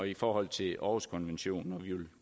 i forhold til århuskonventionen vi vil